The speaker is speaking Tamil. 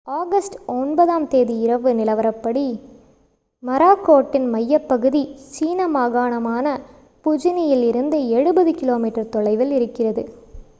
ஆகஸ்ட் 9-ஆம் தேதி இரவு நிலவரப்படி மொராக்கோட்டின் மையப்பகுதி சீன மாகாணமான புஜியனில் இருந்து எழுபது கிலோமீட்டர் தொலைவில் இருந்தது